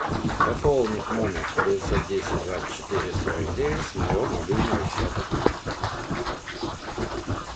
пополнить номер девятьсот десять двадцать четыре сорок девять с моего мобильного счета